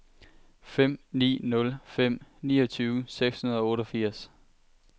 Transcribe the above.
fem ni nul fem niogtyve seks hundrede og otteogfirs